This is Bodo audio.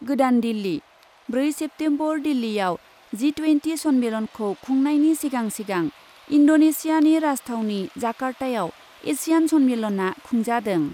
गोदान दिल्ली, ब्रै सेप्तेम्बर दिल्लीयाव जि टुयेन्टि सन्मेलनखौ खुंनायनि सिगां सिगां इन्डनेसियानि राजथावनि जाकार्तायाव एसियान सन्मेनलनआ खुंजादों।